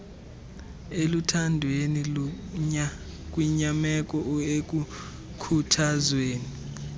eluthandweni kwinyameko ekukhuthazweni